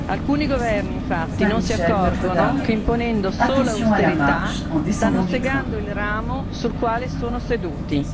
Alcuni governi infatti non si accorgono che imponendo solo austerità stanno segando il ramo sul quale sono seduti.